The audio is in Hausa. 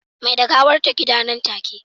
Mai da gawar ta gida nan take